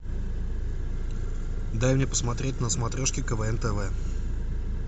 дай мне посмотреть на смотрешке квн тв